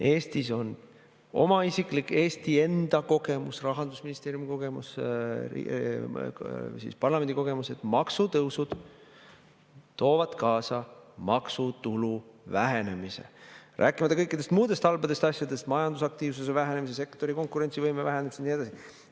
Eestis on oma isiklik, Eesti enda kogemus, Rahandusministeeriumi kogemus, ka parlamendi kogemus, et maksutõusud toovad kaasa maksutulu vähenemise, rääkimata kõikidest muudest halbadest asjadest: majandusaktiivsuse vähenemise, sektorite konkurentsivõime vähenemise ja nii edasi.